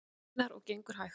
Einar: Og gengur hægt?